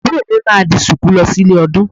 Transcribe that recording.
Àbúrò mi máa di Ṣùkú lọ sí ilé ọdún